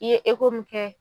I ye mun kɛ